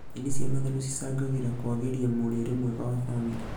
Nyeni cia matharũ cicangagĩra kwagĩria mũrĩre mwega wa bamĩrĩ